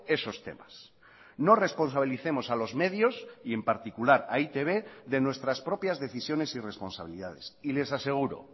esos temas no responsabilicemos a los medios y en particular a e i te be de nuestras propias decisiones y responsabilidades y les aseguro